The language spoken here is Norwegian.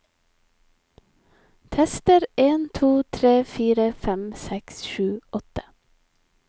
Tester en to tre fire fem seks sju åtte